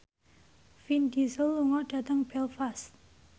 Vin Diesel lunga dhateng Belfast